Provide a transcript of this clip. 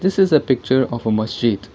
this is a picture of a masjid.